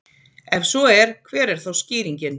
ef svo er hver er þá skýringin